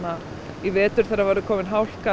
í vetur þegar það verður komin hálka